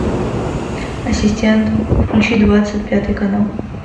ассистент включи двадцать пятый канал